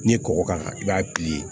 N'i ye kɔgɔ k'a kan i b'a